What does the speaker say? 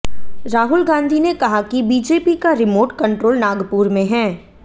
राहुल गांधी ने कहा कि बीजेपी का रिमोर्ट कंट्रोल नागपुर में है